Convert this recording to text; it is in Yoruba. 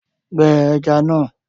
Gbẹ ẹja náà